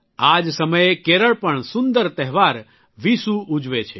આ જ સમયે કેરળ પણ સુંદર તહેવાર વિશુ ઉજવે છે